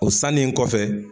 O sannen kɔfɛ.